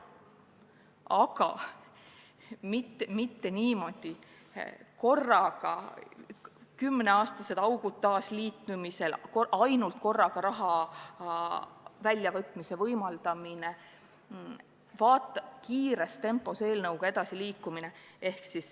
Aga mitte niimoodi, korraga, ja et jäetakse kümne aasta pikkused augud taasliitumisel, võimaldatakse korraga raha välja võtta ja tahetakse kiires tempos edasi liikuda.